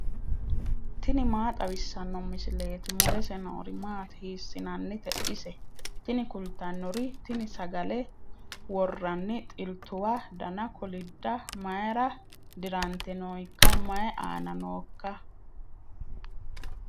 tini maa xawissanno misileeti ? mulese noori maati ? hiissinannite ise ? tini kultannori tini sagale worranni xiltuwa dana kolidda mayra dirante nooikka mayi aana nooika